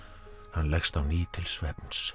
hann leggst á ný til svefns